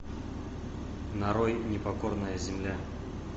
нарой непокорная земля